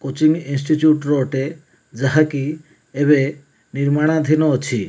Coaching institute ର ଅଟେ ଯାହାକି ଏବେ ନିର୍ମାଣ ଧିନ ଅଛି।